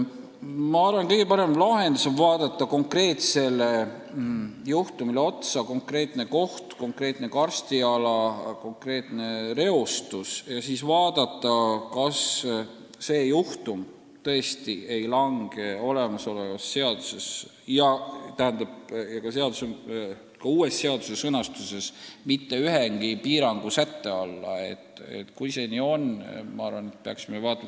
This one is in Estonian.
Ma arvan, et kõige parem lahendus on vaadata konkreetsele juhtumile otsa – on ju konkreetne koht, konkreetne karstiala, konkreetne reostus – ja kindlaks teha, kas see juhtum tõesti ei lange ei praeguses seaduses ega ka uues seaduses mitte ühegi piirangu alla.